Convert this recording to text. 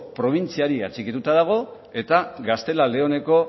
probintziari atxikituta dago eta gaztela leoneko